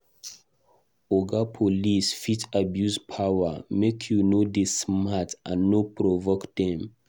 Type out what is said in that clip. Oga Police fit abuse power; make you dey smart and no provoke dem.